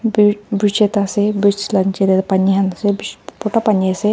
purt bragta ase bridge la jeneral pani hmse bich puta pani ase.